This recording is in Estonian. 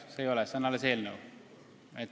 See ei ole seadus, see on alles eelnõu.